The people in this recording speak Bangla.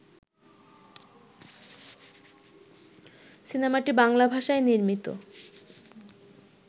সিনেমাটি বাংলা ভাষায় নির্মিত